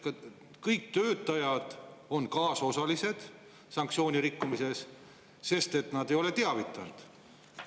Kas siis on kõik töötajad kaasosalised sanktsioonirikkumises, sest nad ei ole teavitanud?